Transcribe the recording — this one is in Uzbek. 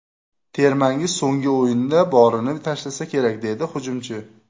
Termangiz so‘nggi o‘yinda borini tashlasa kerak”, - dedi hujumchi.